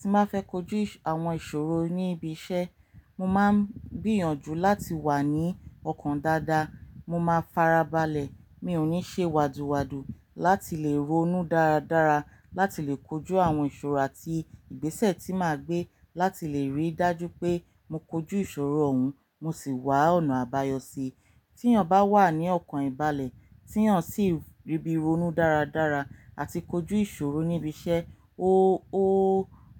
Tí máfẹ́ kojú àwọn ìṣòro ní ibi iṣẹ́, mo máa ń gbìyànjú láti wà ní ọkàn dáadáa, mo máa farabalẹ̀, mi ò ní ṣe wádùwádù láti lè ronú dáradára láti lè kojú àwọn ìṣòro àti ìgbésẹ̀ tí màá gbé láti lè rí dájú pé mo kojú ìṣòro òun, mo sì wá ọ̀nà àbáyọ sí i. Tí eeyan ba wà ní ọkàn ìbálẹ̀, tí eeyan sì rí bí ronú dáradára àti kojú ìṣòro níbi iṣẹ́, ó, ó,